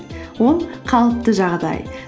ол қалыпты жағдай